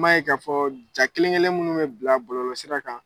M'a ye k'a fɔ ja kelen-kelen minnu bɛ bila bɔlɔlɔsira kan